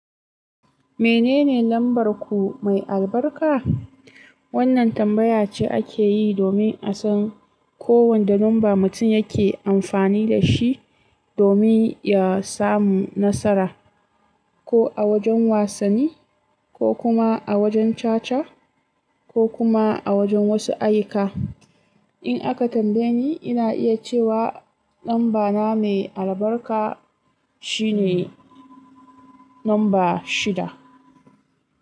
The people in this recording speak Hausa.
Menene lambar ku mai albarka? Wannan tambaya ce ake yi domin a san kowande numba mutum yake amfani da shi domin ya samu nasara, ko a wajen wasanni, ko kuma a wajen caca, ko kuma a wajen wasu ayyuka. In aka tambaye ni, ina iya cewa lambana mai albarka shine numba shida.